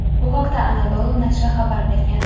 Bu haqda "Anadolu" nashri xabar bergan.